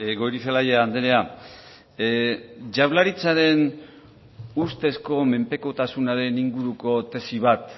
goirizelaia andrea jaurlaritzaren ustezko menpekotasunaren inguruko tesi bat